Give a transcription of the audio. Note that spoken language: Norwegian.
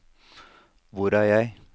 hvor er jeg